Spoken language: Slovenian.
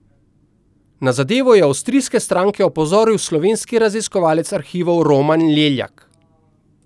Na zadevo je avstrijske stranke opozoril slovenski raziskovalec arhivov Roman Leljak.